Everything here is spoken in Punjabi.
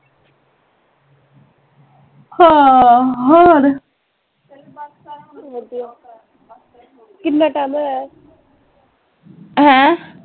ਹਾਂ ਹੋਰ ਹੈਂ